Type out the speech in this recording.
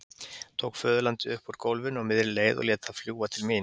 Tók föðurlandið upp úr gólfinu á miðri leið og lét það fljúga til mín.